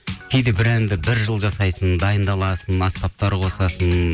кейде бір әнді бір жыл жасайсың дайындаласың аспаптар қосасың